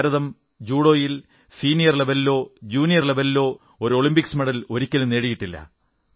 ഭാരതം ജൂഡോയിൽ സീനിയർ ലവലിലോ ജൂനിയർ ലവലിലോ ഒരു ഒളിമ്പിക് മെഡലും ഒരിക്കലും നേടിയിട്ടില്ല